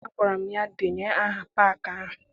Agwara m ya, denye aha paakị ahụ!